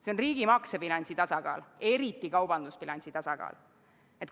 See on riigi maksebilansi tasakaal, eriti kaubandusbilansi tasakaal.